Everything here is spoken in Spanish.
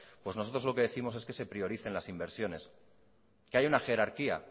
nosotros lo que décimos es que se prioricen las inversiones que hay una jerarquía